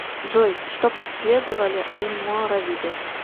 джой что преследовали альморавиды